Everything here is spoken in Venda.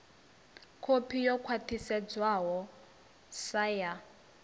kopi yo khwathisedzwaho sa ya